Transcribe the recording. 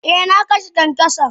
Eh na kashe kyankyason.